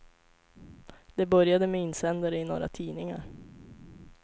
Det började med insändare i några tidningar.